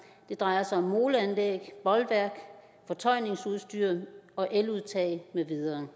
det drejer sig om moleanlæg bolværk fortøjningsudstyr og eludtag med videre